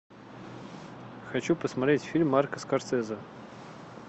хочу посмотреть фильм марка скорсезе